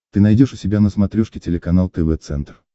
ты найдешь у себя на смотрешке телеканал тв центр